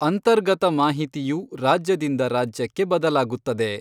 ಅಂತರ್ಗತ ಮಾಹಿತಿಯು ರಾಜ್ಯದಿಂದ ರಾಜ್ಯಕ್ಕೆ ಬದಲಾಗುತ್ತದೆ.